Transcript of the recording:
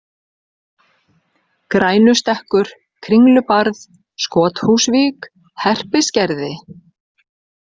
Grænustekkur, Kringlubarð, Skothúsvík, Herpisgerði